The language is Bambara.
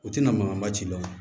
U tɛna mankanba ci dɔn